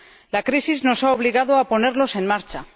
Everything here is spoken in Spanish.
La crisis nos ha obligado a ponerlos en marcha.